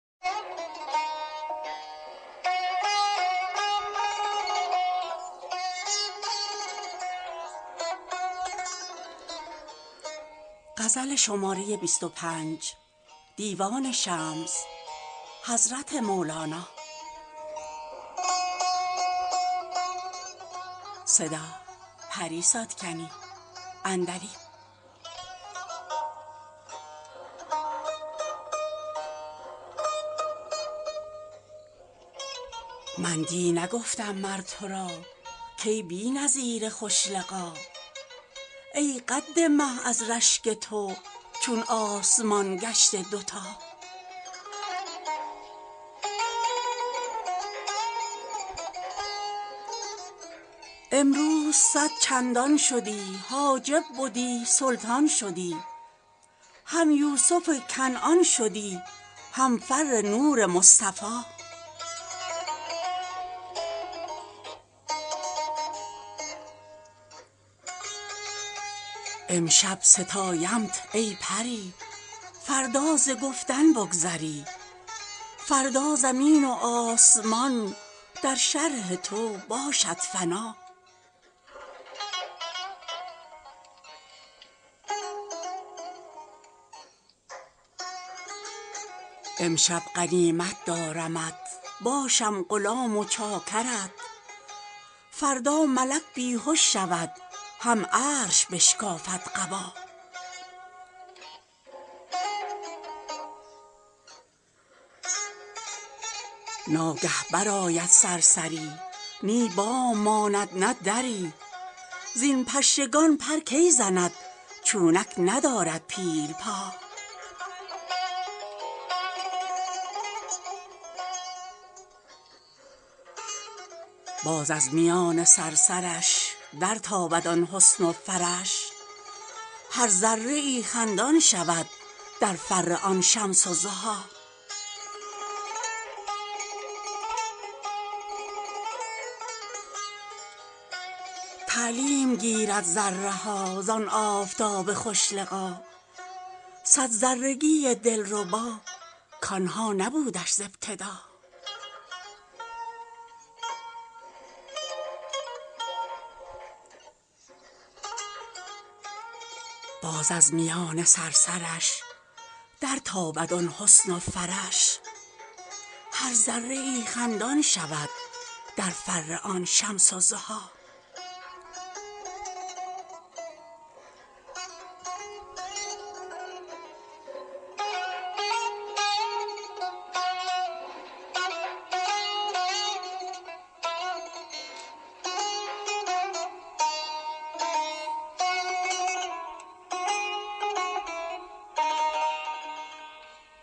من دی نگفتم مر تو را کای بی نظیر خوش لقا ای قد مه از رشک تو چون آسمان گشته دوتا امروز صد چندان شدی حاجب بدی سلطان شدی هم یوسف کنعان شدی هم فر نور مصطفی امشب ستایمت ای پری فردا ز گفتن بگذری فردا زمین و آسمان در شرح تو باشد فنا امشب غنیمت دارمت باشم غلام و چاکرت فردا ملک بی هش شود هم عرش بشکافد قبا ناگه برآید صرصری نی بام ماند نه دری زین پشگان پر کی زند چونک ندارد پیل پا باز از میان صرصرش درتابد آن حسن و فرش هر ذره ای خندان شود در فر آن شمس الضحی تعلیم گیرد ذره ها زان آفتاب خوش لقا صد ذرگی دلربا کان ها نبودش ز ابتدا